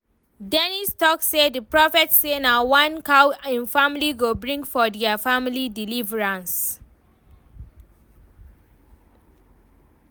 Dennis talk say the prophet say na one cow im family go bring for dia family deliverance